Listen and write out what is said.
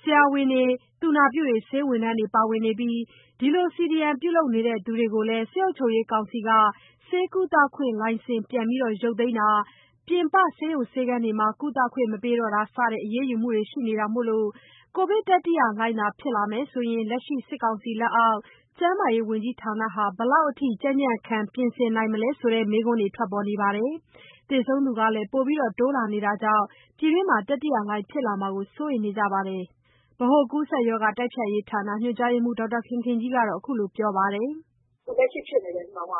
ဆရာဝန်တွေ သူနာပြုတွေပါဝင်နေပြီး အဲဒီလို CDM ပြုလုပ်သူတွေကိုလည်း စစ်အုပ်ချုပ်ရေး ကောင်စီက ဆေးကုသခွင့်လက်မှတ်ပြန်သိမ်းတာ ပြင်ပ ဆေးရုံဆေးခန်းတွေမှာ ကုသခွင့်မပေးတာစတဲ့ အရေးယူမှုတွေရှိနေတာမို့ ကိုဗစ်တတိယလှိုင်းသာ ဖြစ် လာမယ်ဆိုရင် လက်ရှိ စစ်ကောင်စီအောက် ကျန်းမာရေးဝန်ကြီးဌာနက ဘယ်လောက်ထိ ကြံ့ကြံ့ခံ ပြင် ဆင်ထားနိုင်မလဲ ဆိုတဲ့ မေးခွန်းတွေထွက်ပေါ်နေသလို သေဆုံးသူတိုးလာနေတာကြောင့် ပြည်တွင်းမှာ ကိုဗစ်တတိယလှိုင်းဖြစ်လာမှာကို စိုးရိမ်နေကြပါတယ်။ဗဟိုကူးစက်ရောဂါတိုက်ဖျက်ရေးဌာန ညွှန်ကြား ရေးမှူး ဒေါက်တာခင်ခင်ကြီးကတော့ အခုလိုပြောပြပါ တယ်။ “ လက်ရှိ ကိုဗစ်ဖြစ်နေတဲ့ နှုန်းက